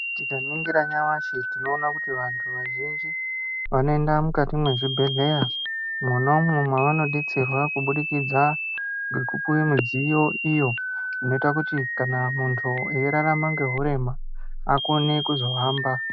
Tika ningira nyamashi tinooona kuti vantu vazhinji vano enda mukati me zvibhedhleya mwonamo mavano detserwa kubudikidza ngeku piwe midziyo iyo inoiita kuti kana muntu eyi rarama ne urema azokone kuhamba.